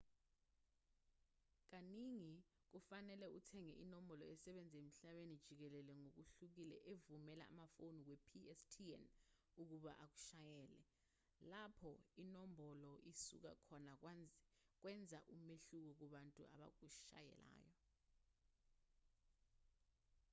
kaningi kufanele uthenge inombolo esebenza emhlabeni jikelele ngokuhlukile evumela amafoni we-pstn ukuba akushayele lapho inombolo isuka khona kwenza umehluko kubantu abakushayelayo